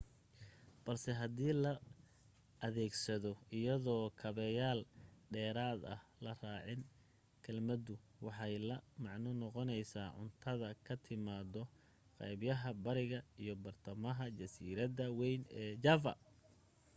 balse hadii la adeegsado iyadoo kaabeyaal dheeraada la raacin kelmaddu waxay la macno noqonaysaa cuntada ka timaada qaybaga bariga iyo badhtamaha jasiiradda wayn ee java